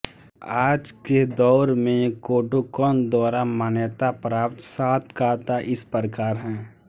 आज के दौर में कोडोकन द्वारा मान्यता प्राप्त सात काता इस प्रकार हैं